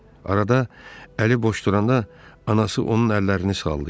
Arada əli boş duranda, anası onun əllərini sallayırdı.